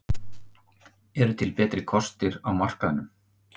Eru til betri kostir á markaðnum?